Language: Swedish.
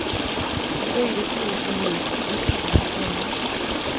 Hon böjde sig ner på huk och viskade i hans öra.